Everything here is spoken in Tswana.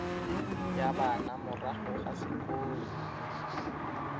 ya bana morago ga sekolo